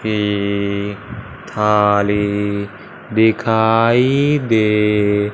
ये थाली दिखाई दे--